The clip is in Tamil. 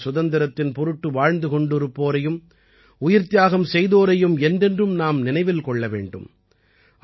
தேசத்தின் சுதந்திரத்தின் பொருட்டு வாழ்ந்து கொண்டிருப்போரையும்உயிர்த்தியாகம் செய்தோரையும் என்றென்றும் நாம் நினைவில் கொள்ள வேண்டும்